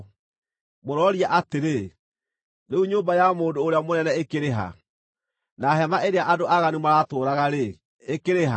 Mũrooria atĩrĩ, ‘Rĩu nyũmba ya mũndũ ũrĩa mũnene ĩkĩrĩ ha, na hema ĩrĩa andũ aaganu maratũũraga-rĩ, ĩkĩrĩ ha?’